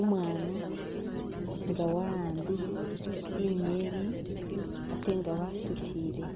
Umwana nga wa’ambile inyeni ate nga wasutile